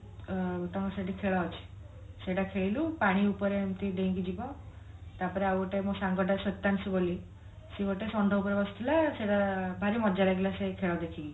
ଆଁ ତାଙ୍କ ସେଠି ଖେଳ ଅଛି ସେଇଟା ଖେଳିଲୁ ପାଣି ଉପରେ ଏମିତି ଡେଇଁକି ଯିବ ତାପରେ ଆଉ ଗୋଟେ ମୋ ସାଙ୍ଗ ଟା ସୁତାଂଶୁ ବୋଲି ସେ ଗୋଟେ ଷଣ୍ଢ ଉପରେ ବସିଥିଲା ସେଇଟା ଭାରି ମଜା ଲାଗିଲା ସେ ଖେଳ ଦେଖିକି